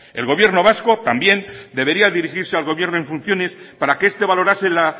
el gobierno vasco también debería dirigirse al gobierno en funciones para que este valorase la